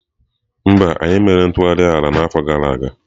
Mba, anyị emeghị ntụgharị ala n'afọ gara aga.